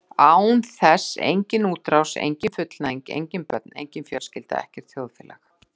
Án þess engin útrás, engin fullnæging, engin börn, engin fjölskylda, ekkert þjóðfélag.